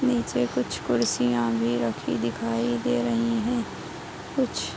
नीचे कुछ कुर्सियां भी रखी दिखाई दे रही हैं। कुछ --